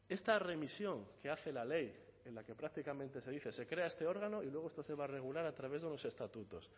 esta remisión que hace la ley en la que prácticamente se dice se crea este órgano y luego esto se va a regular a través de los estatutos